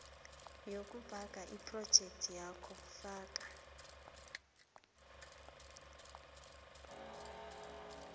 yokubhanga yephrojekthakho faka